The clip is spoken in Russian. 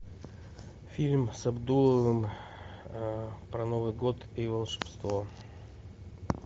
фильм с абдуловым про новый год и волшебство